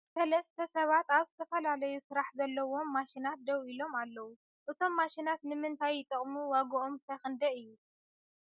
ሰልሰተ ሰባት ኣብ ዝተፈላለዩ ስራሕ ዘለዎም ማሺናት ደው ኢሎም ኣለው ። እቶም ማሽናት ን ምንታይ ይጠቅሙ ዋግኦም ክ ክንደይ እዩ ?